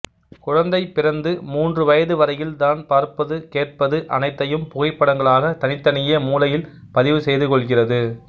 குழந்தை பிறந்து மூன்று வயது வரையில் தான் பார்ப்பது கேட்பது அனைத்தையும் புகைப்படங்களாக தனித்தனியே மூளையில் பதிவு செய்துகொள்கிறது